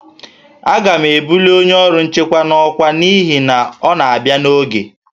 A ga-ebuli onye ọrụ nchekwa n'ọkwa n'ihi na ọ na-abịa n'oge